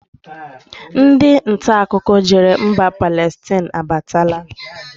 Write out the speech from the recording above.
Ndị ntaakụkọ jere mba Palestine abatala